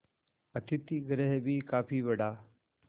अतिथिगृह भी काफी बड़ा